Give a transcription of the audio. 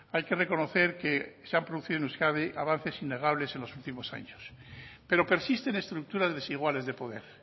hay que reconocer que se han producido en euskadi avances innegables en los últimos años pero persisten estructuras desiguales de poder